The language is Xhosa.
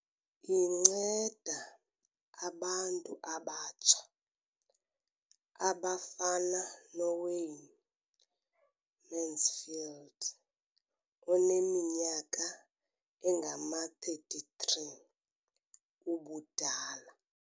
Inceda abantu abatsha abafana noWayne Mansfield oneminyaka engama-33 ubudala.